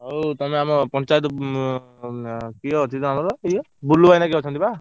ହଉ ତମେ ଆମ ହଉ ତମେ ଆମ ପଞ୍ଚାୟତ କିଏ ଅଛନ୍ତି ଆମର ଇଏ ବୁଲୁ ଭାଇ ନା କିଏ ଅଛନ୍ତି ବା।